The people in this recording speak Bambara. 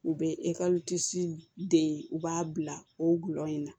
U bɛ de u b'a bila o gulɔ in na